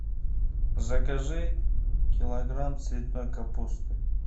закажи килограмм цветной капусты